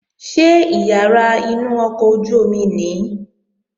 Ṣé ìyàrá inú ọkọ̀ ojú-omi nìí?